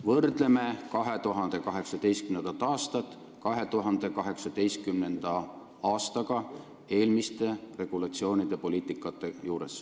Võrdleme 2018. aastat 2018. aastaga eelmiste regulatsioonide ja poliitikate mõistes.